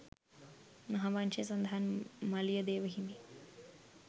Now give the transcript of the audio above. මහාවංශයේ සඳහන් මලියදේව හිමි